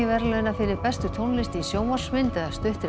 verðlauna fyrir bestu tónlist í sjónvarpsmynd eða stuttri